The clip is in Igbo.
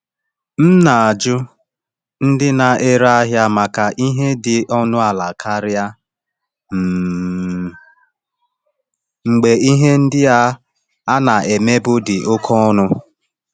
M na-ajụ ndị na-ere ahịa maka ihe dị ọnụ ala karịa um mgbe ihe ndị a na-emebu dị oke ọnụ.